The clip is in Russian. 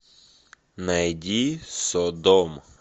найди содом